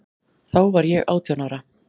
Þá var ég átján ára.